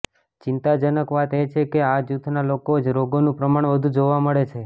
ચિંતાજનક વાત એ છે કે આ જૂથનાં લોકોમાં જ રોગોનું પ્રમાણ વધુ જોવા મળે છે